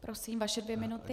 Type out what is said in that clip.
Prosím, vaše dvě minuty.